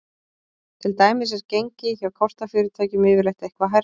Til dæmis er gengi hjá kortafyrirtækjum yfirleitt eitthvað hærra.